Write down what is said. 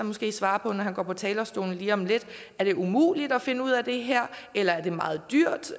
måske svare på når han går på talerstolen lige om lidt er det umuligt at finde ud af det her eller er det meget dyrt